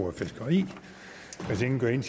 får en